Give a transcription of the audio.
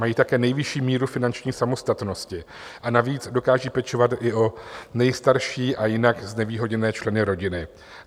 Mají také nejvyšší míru finanční samostatnosti, a navíc dokážou pečovat i o nejstarší a jinak znevýhodněné členy rodiny.